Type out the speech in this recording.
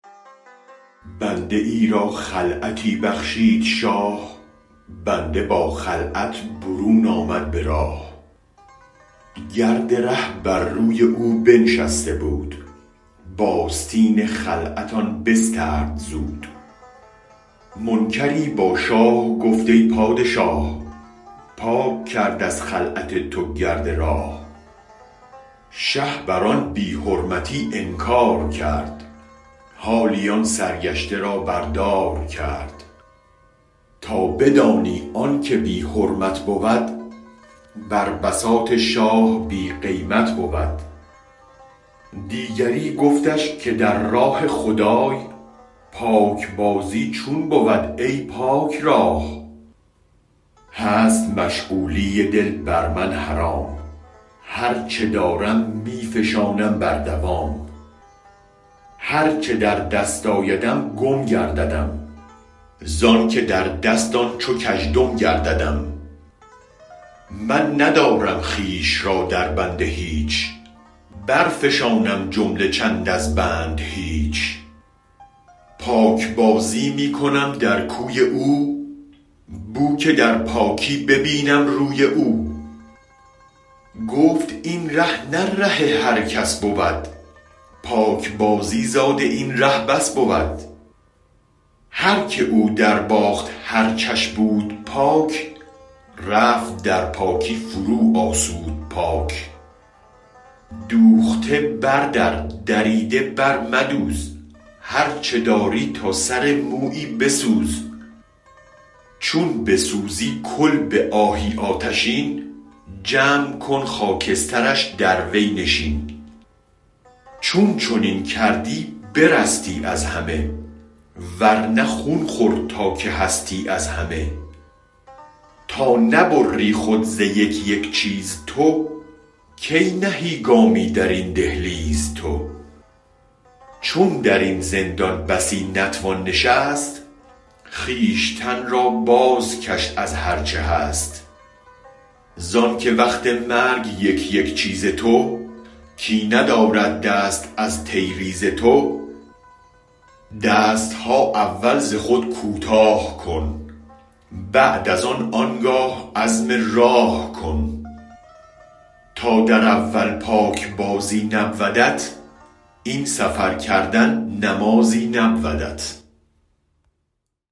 بنده ای را خلعتی بخشید شاه بنده با خلعت برون آمد به راه گرد ره بر روی او بنشسته بود باستین خلعت آن بسترد زود منکری با شاه گفت ای پادشاه پاک کرد از خلعت تو گرد راه شه بر آن بی حرمتی انکارکرد حالی آن سرگشته را بر دار کرد تا بدانی آنک بی حرمت بود بر بساط شاه بی قیمت بود دیگری گفتش که در راه خدای پاک بازی چون بود ای پاک رای هست مشغولی دل بر من حرام هرچ دارم می فشانم بر دوام هرچ در دست آیدم گم گرددم زانک در دست آن چو کژدم گرددم من ندارم خویش را در بند هیچ برفشانم جمله چند از بند هیچ پاک بازی می کنم در کوی او بوک در پاکی ببینم روی او گفت این ره نه ره هر کس بود پاک بازی زاد این راه بس بود هرک او در باخت هر چش بود پاک رفت در پاکی فروآسود پاک دوخته بر در دریده بر مدوز هرچ داری تا سر مویی بسوز چون بسوزی کل به آهی آتشین جمع کن خاکسترش در وی نشین چون چنین کردی برستی از همه ورنه خون خور تا که هستی از همه تا نبری خود ز یک یک چیز تو کی نهی گامی در این دهلیز تو چون درین زندان بسی نتوان نشست خویشتن را بازکش از هرچ هست زانک وقت مرگ یک یک چیز تو کی ندارد دست از تیریز تو دستها اول ز خود کوتاه کن بعد از آن آنگاه عزم راه کن تا در اول پاک بازی نبودت این سفر کردن نمازی نبودت